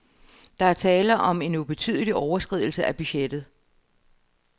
Der er tale om en ubetydelig overskridelse af budgettet.